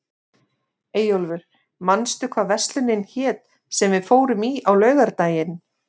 Eyjólfur, manstu hvað verslunin hét sem við fórum í á laugardaginn?